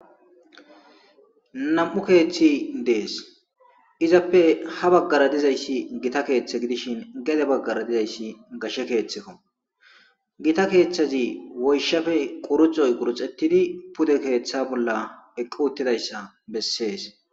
Nam7u keeththi dees izappe ha baggara dizayssi gita keeththe gidishin gede baggara dizayssi gashe keeththekko gita keeththazi woyshafe quruxoy guruxettidi pude keeththa bolla eqqu uttidayssa bessees.